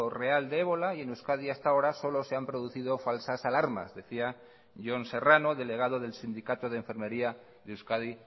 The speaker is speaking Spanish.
real de ébola y en euskadi hasta ahora solo se han producido falsas alarmas decía jon serrano delegado del sindicato de enfermería de euskadi